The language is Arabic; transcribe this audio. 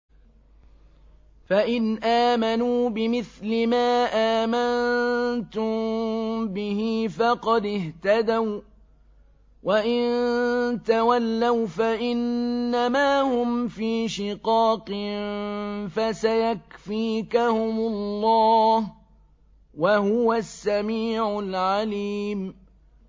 فَإِنْ آمَنُوا بِمِثْلِ مَا آمَنتُم بِهِ فَقَدِ اهْتَدَوا ۖ وَّإِن تَوَلَّوْا فَإِنَّمَا هُمْ فِي شِقَاقٍ ۖ فَسَيَكْفِيكَهُمُ اللَّهُ ۚ وَهُوَ السَّمِيعُ الْعَلِيمُ